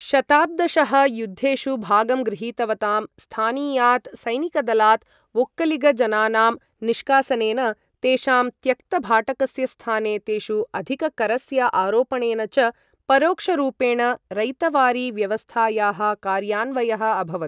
शताब्दशः युद्धेषु भागं गृहीतवतां स्थानीयात् सैनिकदलात् वोक्कलिग जनानां निष्कासनेन, तेषां त्यक्त भाटकस्य स्थाने तेषु अधिककरस्य आरोपणेन च परोक्षरूपेण रैतवारी व्यवस्थायाः कार्यान्वयः अभवत्।